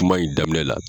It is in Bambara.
Kuma in daminɛ la